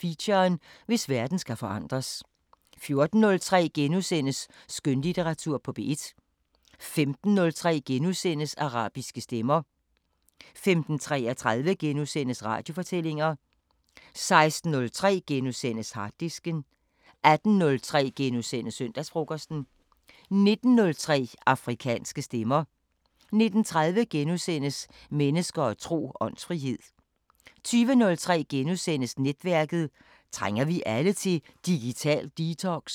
Feature: Hvis verden skal forandres * 14:03: Skønlitteratur på P1 * 15:03: Arabiske Stemmer * 15:33: Radiofortællinger * 16:03: Harddisken * 18:03: Søndagsfrokosten * 19:03: Afrikanske Stemmer 19:30: Mennesker og tro: Åndsfrihed * 20:03: Netværket: Trænger vi alle til digital detox? *